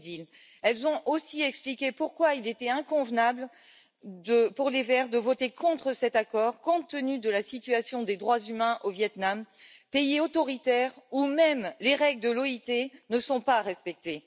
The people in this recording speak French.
Ils ont aussi expliqué pourquoi il était inconvenable pour les Verts de voter contre cet accord, compte tenu de la situation des droits humains au Viêt Nam, pays autoritaire où même les règles de l'OIT ne sont pas respectées.